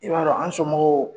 I b'a dɔn an somɔgɔw